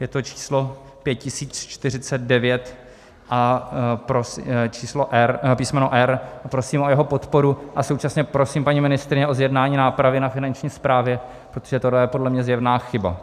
Je to číslo 5049 a písmeno R. Prosím o jeho podporu a současně prosím paní ministryni o zjednání nápravy na Finanční správě, protože tohle je podle mě zjevná chyba.